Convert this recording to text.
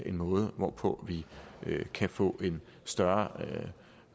en måde hvorpå vi kan få en større